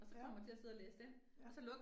Ja. Ja